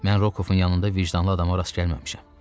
Mən Rukovun yanında vicdanlı adama rast gəlməmişəm.